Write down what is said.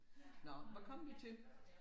Nå hvad kom vi til